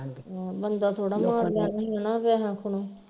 ਆਹ ਬੰਦਾ ਥੋੜਾ ਮਾਰ ਲੈਣਾ ਹੀ ਹਣਾ ਪੈਹਿਆਂ ਖੁਣੋ